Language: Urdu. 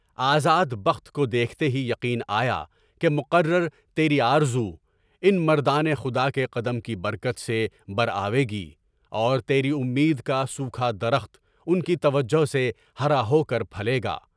آزاد بخت کو دیکھتے ہی یقین آیا کہ مقررہ تیری آرزو، ان مردان خدا کے قدم کی برکت سے برآوے گی، اور تیری امید کا سوکھا درخت ان کی توجہ سے ہارا ہو کے پھیلے گا۔